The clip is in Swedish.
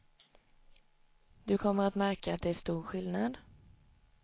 Du kommer att märka att det är stor skillnad.